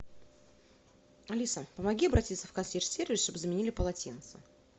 алиса помоги обратиться в консьерж сервис чтобы заменили полотенца